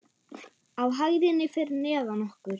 Á hæðinni fyrir neðan okkur.